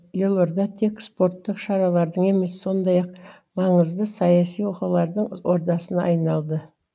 елорда тек спорттық шаралардың емес сондай ақ маңызды саяси оқиғалардың ордасына айналды